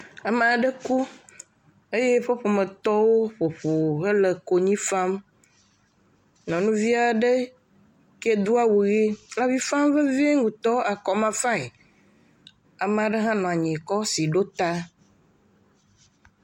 Ame aɖe ku eye eƒe ƒometɔwo le konyifam nyɔnu aɖe do awu le avifam vevie ŋtɔ akɔmafae ame aɖe ha nɔ anyi kɔ asi ɖo ta